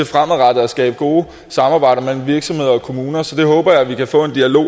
fremadrettet at skabe gode samarbejder mellem virksomheder og kommuner så det håber jeg vi kan få en dialog